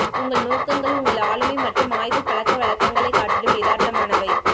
உங்கள் நோக்கங்கள் உங்கள் ஆளுமை மற்றும் ஆய்வுப் பழக்க வழக்கங்களைக் காட்டிலும் யதார்த்தமானவை